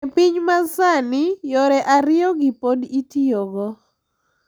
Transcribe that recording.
E piny masani, yore ariyogi pod itiyogo,